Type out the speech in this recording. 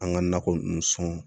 An ka nakɔ ninnu sɔn